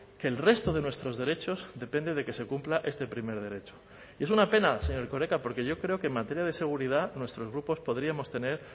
que el resto de nuestros derechos depende de que se cumpla este primer derecho y es una pena señor erkoreka porque yo creo que en materia de seguridad nuestros grupos podríamos tener